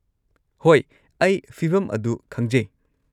ꯍꯣꯏ, ꯑꯩ ꯐꯤꯚꯝ ꯑꯗꯨ ꯈꯪꯖꯩ꯫